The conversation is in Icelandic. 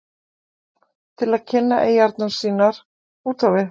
til að kynna eyjarnar sínar út á við?